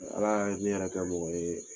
Ala kana kɛ i k'i yɛrɛ kɛ mɔgɔ yɛrɛ